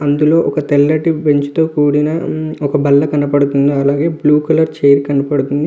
అందులో ఒక తెల్లటి బెంచ్ తో కూడిన ఒక బల్ల కనబడుతూ ఉంది. అలాగే ఒక బ్లూ కలర్ చైర్ కనబడుతూ ఉంది.